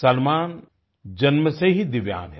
सलमान जन्म से ही दिव्यांग हैं